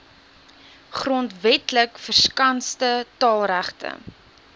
grondwetlik verskanste taalregte